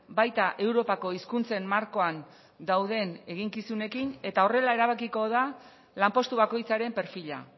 baita europako hizkuntzen markoan dauden eginkizunekin eta horrela erabakiko da lanpostu bakoitzaren perfila